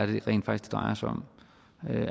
det rent faktisk